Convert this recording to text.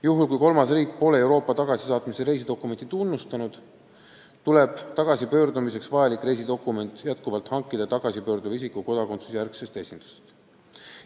Juhul, kui kolmas riik pole Euroopa tagasisaatmise reisidokumenti tunnustanud, tuleb tagasipöördumiseks vajalik reisidokument jätkuvalt hankida tagasipöörduva isiku kodakondsuse järgsest esindusest.